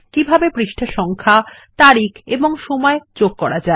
কিভাবে পাতা সংখ্যা তারিখ এবং সময় যোগ করা যায়